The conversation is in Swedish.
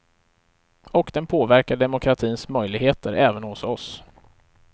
Och den påverkar demokratins möjligheter även hos oss.